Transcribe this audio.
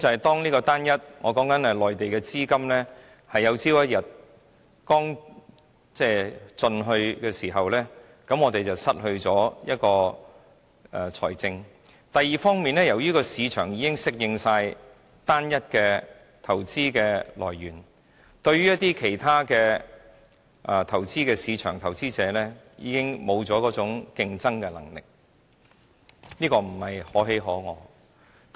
第一，當內地資金有一天用盡，我們便失去資金來源；第二，由於市場已適應單一的投資來源，對於其他的市場投資者已經失去競爭能力，這並不是可喜可賀的。